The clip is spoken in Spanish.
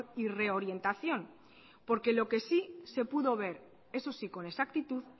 y reorientación porque lo que sí se pudo ver eso sí con exactitud